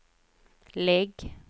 lägg